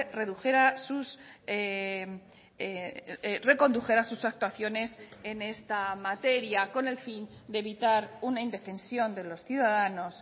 redujera sus recondujera sus actuaciones en esta materia con el fin de evitar una indefensión de los ciudadanos